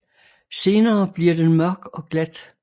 Senere bliver den mørk og glat